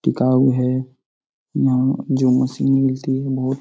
टिकाऊ है यहाँ जिम मशीन मिलती है बहुत --